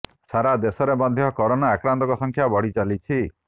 ସାରା ଦେଶରେ ମଧ୍ୟ କରୋନା ଆକ୍ରାନ୍ତଙ୍କ ସଂଖ୍ୟା ବଢ଼ି ଚାଲିଛି